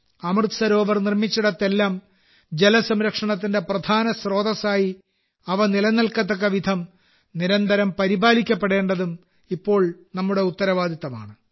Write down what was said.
അമൃത് സരോവർ നിർമ്മിച്ചിടത്തെല്ലാം ജലസംരക്ഷണത്തിന്റെ പ്രധാന സ്രോതസ്സായി അവ നിലനിൽക്കത്തക്കവിധം നിരന്തരം പരിപാലിക്കപ്പെടേണ്ടതും ഇപ്പോൾ നമ്മുടെ ഉത്തരവാദിത്തമാണ്